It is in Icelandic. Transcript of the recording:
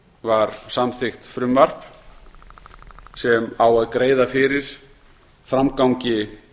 var samþykkt frumvarp sem á að greiða fyrir framgangi